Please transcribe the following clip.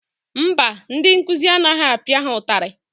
Mba, ndị nkụzi anaghị apịa ha ụtarị.